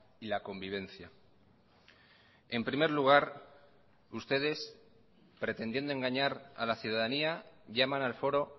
y la convivencia en primer lugar ustedes pretendiendo engañar a la ciudadanía llaman al foro